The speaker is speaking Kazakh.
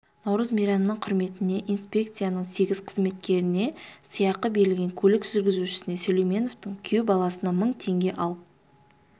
наурыз мейрамының құрметіне инспекцияның сегіз қызметкеріне сыйақы берілген көлік жүргізушісіне сүлейменовтің күйеу баласына мың теңге ал